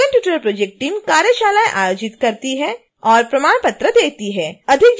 spoken tutorial project team कार्यशालाएं आयोजित करती है और प्रमाण पत्र देती है